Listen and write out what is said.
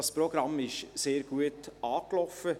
Das Programm ist sehr gut angelaufen.